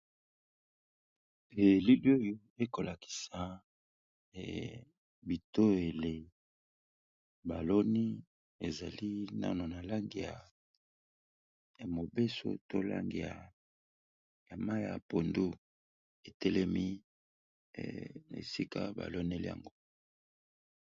Elili oyo ekolakisa bitoyele baloni ezali nano na langi ya mobeso to langi ya mayi ya pondu, etelemi na esika ba loneli yango.